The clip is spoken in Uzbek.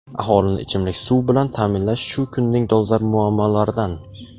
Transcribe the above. Aholini ichimlik suv bilan ta’minlash shu kunning dolzarb muammolaridan.